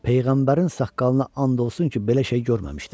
Peyğəmbərin saqqalına and olsun ki, belə şey görməmişdim.